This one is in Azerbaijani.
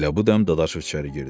Elə bu dəm Dadaşov içəri girdi.